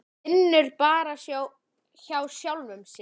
Vinnur bara hjá sjálfum sér.